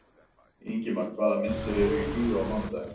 Ingimar, hvaða myndir eru í bíó á mánudaginn?